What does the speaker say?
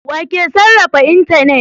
Wa ke sarrafa intanet?